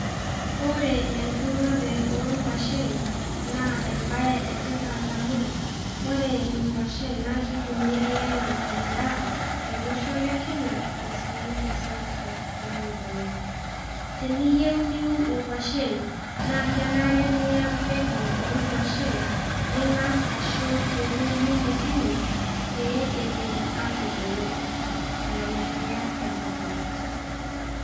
ore enturore oonkwashen naa ebae etipat amu, ore inkwashen naa kitumiyae anaa edaa tolosho le kenya, osii toseuseu nalulung'a, teniyieu niun inkwashen, naa kenare niya mbegu oonkwashen, ning'as ashum tewuei nemisimis pee etum aatogolo eton eitu iya emukunta.